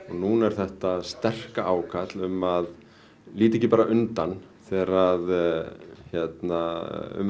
núna er þetta sterka ákall um að líta ekki bara undan þegar um er